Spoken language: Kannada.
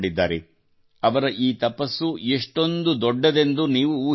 ಅವರ ಈ ತಪಸ್ಸು ಎಷ್ಟೊಂದು ದೊಡ್ಡದೆಂದು ನೀವು ಊಹಿಸಬಹುದು